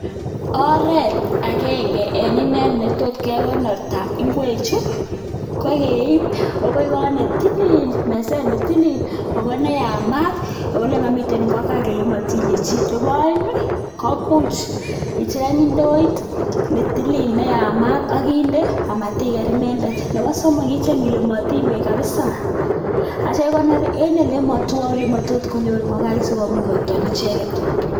Oret agenge en inee netot kekonorta ingwechu kokeip akoi kot ne tilil, meset ne tilil ako ne yamat ako ole mamiten ingokaik, ole matinye chi. Nebo komuch icheng indoit ne tilil ne yamat amatiker inendet. Nebo somok, icheng ile matiny beek kapsa akikonor eng ole matwae olematot konyor ngokaik sikomuch kotor icheket.